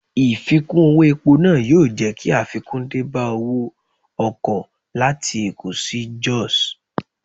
Ìfikún owó epo náà yóò jẹ́ kí àfikún dé bá owó ọkọ̀ láti Èkó sí Jos.